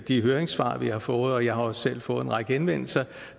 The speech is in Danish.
de høringssvar vi har fået og jeg har også selv fået en række henvendelser